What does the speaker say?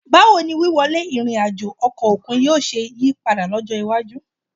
Báwo ni wíwọlé ìrìn àjò ọkọ̀ òkun yóò ṣe yí padà lọ́jọ́ iwájú